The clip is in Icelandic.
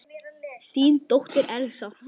Þín dóttir, Elsa.